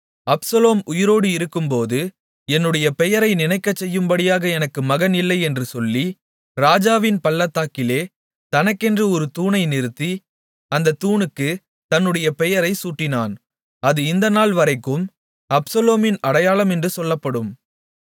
Absalom உயிரோடு இருக்கும்போது என்னுடைய பெயரை நினைக்கச்செய்யும்படியாக எனக்கு மகன் இல்லை என்று சொல்லி ராஜாவின் பள்ளத்தாக்கிலே தனக்கென்று ஒரு தூணை நிறுத்தி அந்தத் தூணுக்குத் தன்னுடைய பெயரை சூட்டினான் அது இந்த நாள்வரைக்கும் அப்சலோமின் அடையாளம் என்று சொல்லப்படும்